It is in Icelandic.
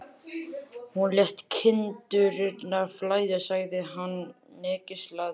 Hún lét kindurnar flæða, sagði hann hneykslaður.